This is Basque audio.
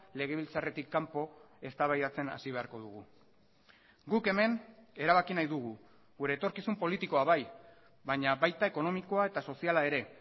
legebiltzarretik kanpo eztabaidatzen hasi beharko dugu guk hemen erabaki nahi dugu gure etorkizun politikoa bai baina baita ekonomikoa eta soziala ere